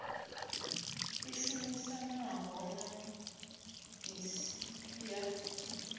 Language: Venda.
i shumisanaho na iss ya